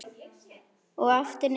Og aftur niður.